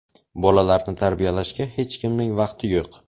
Bolalarni tarbiyalashga hech kimning vaqti yo‘q.